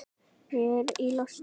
Ég er í losti.